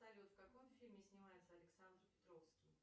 салют в каком фильме снимается александр петровский